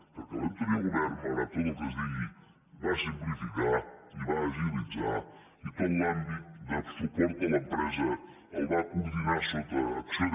perquè l’anterior govern malgrat tot el que es digui va simplificar i va agilitzar i tot l’àmbit de suport a l’empresa el va coordinar sota acc1ó